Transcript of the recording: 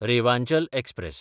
Rewanchal express